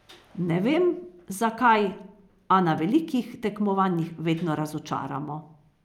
Ne vem, zakaj, a na velikih tekmovanjih vedno razočaramo.